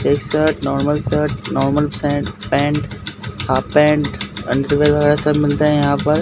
एक shirt normal shirt normal pant pant half pant underwear वगैरह सब मिलते हैं यहाँ पर।